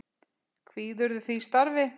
Kvíðirðu því starfi?